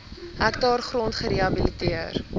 hektaar grond gerehabiliteer